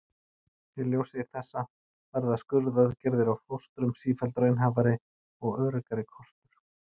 í ljósi þessa verða skurðaðgerðir á fóstrum sífellt raunhæfari og öruggari kostur